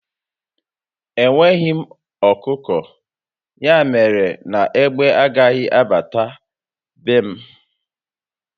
Enweghị m ọkụkọ, ya mere na égbé agaghị abata be m